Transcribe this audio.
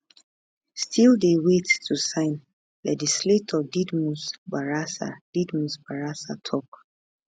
[still dey wait to sign] legislator didmus barasa didmus barasa tok